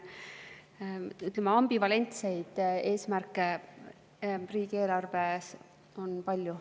Ambivalentseid eesmärke on riigieelarves palju.